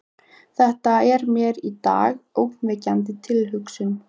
Þetta er mér í dag ógnvekjandi tilhugsun.